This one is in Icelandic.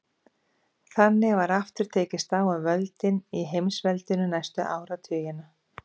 Þannig var aftur tekist á um völdin í heimsveldinu næstu áratugina.